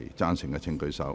贊成的請舉手。